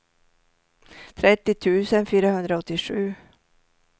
trettio tusen fyrahundraåttiosju